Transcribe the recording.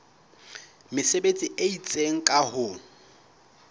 mesebetsi e itseng ka ho